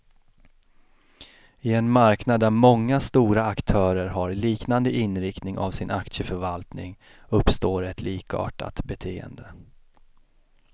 I en marknad där många stora aktörer har liknande inriktning av sin aktieförvaltning, uppstår ett likartat beteende.